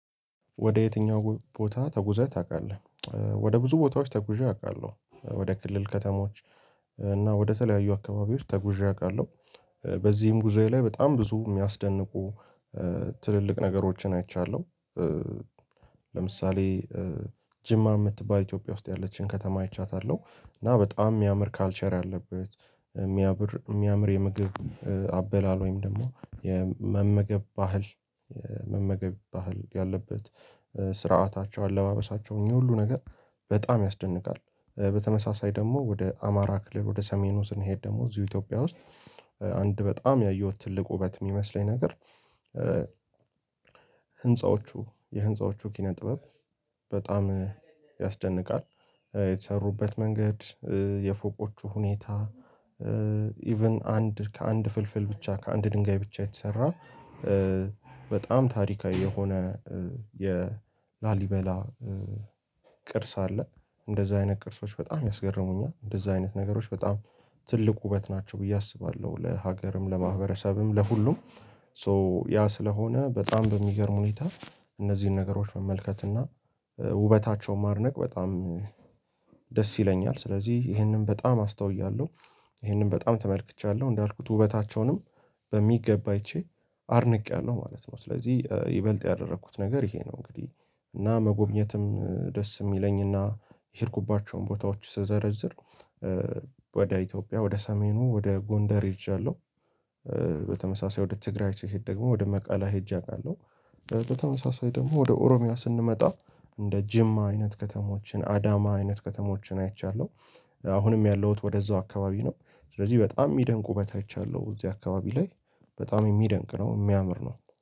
ወደ የትኛው ቦታ ተጉዘህ ታውቃለ? ወደ ብዙ ቦታዎች ተጉዠ አውቃለሁ ወደ ክልል ከተማዎች ወደተለያዩ አካባቢ ውስጥ ተጉዠ አቃለሁ በዚህም ጉዞዬ ላይ በጣም ብዙ የሚያስደንቁ ትልልቅ ነገሮችን አይቻለሁ ለምሳሌ ጅማ የምትባል ኢትዮጵያ ውስጥ ያለችን ከተማ አይቻታለሁ እና በጣም የሚያምር ካልቸር አለበት የሚያምር የሚያምር የምግብ አበላል ወይም ደግሞ የመመገብ ባህል የመመገብ ባህል ያለበት ስርዓታቸው አለባበሳቸው እኚህ ሁሉ ነገር በጣም ያስደንቃል በተመሳሳይ ደግሞ ወደ አማራ ክልል ወደ ሰሜኑ ስንሄድ ደግሞ እዚሁ ኢትዮጵያ ውስጥ አንድ በጣም ያየሁት ትልቁ ውበት የሚመስለኝ ነገር ህንፃዎቹ የህንፃዎቹ ኪነ ጥበብ በጣም ያስደንቃል የተሰሩበት መንገድ የፎቆቹ ሁኔታ ኢቭን አንድ ከአንድ ፍልፍል ብቻ ከአንድ ድንጋይ ብቻ የተሰራ በጣም ታሪካዊ የሆነ የላሊበላ ቅርስ አለ እንደዚህ አይነት ቅርሶች በጣም ያስገረሙኛል እንደዚህ አይነት ነገሮች በጣም ትልቅ ውበት ናቸው ብዬ አስባለሁ ለሀገርም ለማህበረሰብም ለሁሉም ሶ ያ ስለሆነ በጣም በሚገርም ሁኔታ እነዚህን ነገሮች መመልከት እና ውበታቸውን ማድነቅ በጣም ደስ ይለኛል ስለዚህ ይሄንን በጣም አስተውያለሁ ይሄንን በጣም ተመልክቻለሁ እንዳልኩት ውበታቸውንም በሚገባ አይቼ አድንቄያለሁ ማለት ነው ስለዚህ ይበልጥ ያደረኩት ነገር ይሄ ነው እንግዲህ እና መጎብኘትም ደስ የሚለኝ እና የሄድኩባቸውን ቦታዎች ስዘረዝር ወደ ኢትዮጵያ ወደ ሰሜኑ ወደ ጎንደር ሄጃለሁ በተመሳሳይ ወደ ትግራይ ስሄድ ደግሞ ወደ መቃለ ሄጀ አውቃለሁ በተመሳሳይ ደግሞ ወደ ኦሮሚያ ስንመጣ እንደ ጅማ አይነት ከተሞችን አዳማ አይነት ከተሞችን አይቻለሁ አሁንም ያለሁት ወደዛው አካባቢ ነው ስለዚህ በጣም የሚደንቁበት አይቻለሁ እዚህ አካባቢ ላይ በጣም የሚደንቅ ነው የሚያምር ነው።